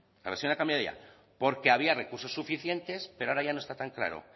la versión ha cambiado ya porque había recursos suficientes pero ahora ya no está tan claro